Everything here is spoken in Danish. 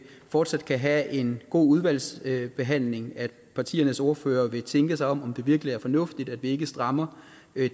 fortsat kan have en god udvalgsbehandling at partiernes ordførere vil tænke sig om om det virkelig er fornuftigt at vi ikke strammer